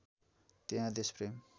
त्यहाँ देशप्रेम